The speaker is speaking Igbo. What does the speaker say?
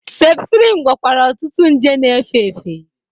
Septrin gwọkwara ọtụtụ nje na-efe efe.